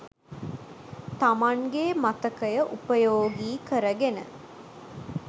තමන්ගේ මතකය උපයෝගී කරගෙන.